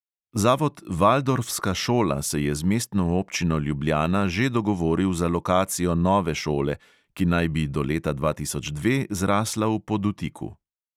Zavod valdorska šola se je z mestno občino ljubljana že dogovoril za lokacijo nove šole, ki naj bi do leta dva tisoč dve zrasla v podutiku.